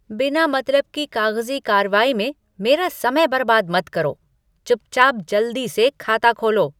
बिना मतलब की कागज़ी कार्रवाई में मेरा समय बर्बाद मत करो। चुपचाप जल्दी से खाता खोलो!